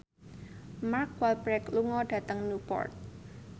Mark Walberg lunga dhateng Newport